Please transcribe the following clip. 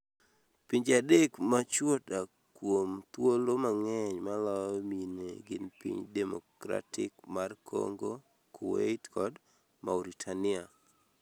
Pinje adek ma chwo dak kuom thuolo mang'eny maloyo mine gin Piny Demokratik mar Kongo, Kuwait kod Mauritania.